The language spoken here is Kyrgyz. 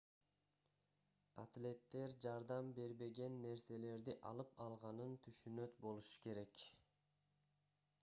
атлеттер жардам бербеген нерселерди алып алганын түшүнөт болушу керек